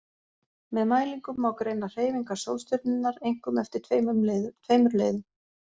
Með mælingum má greina hreyfingar sólstjörnunnar, einkum eftir tveimur leiðum.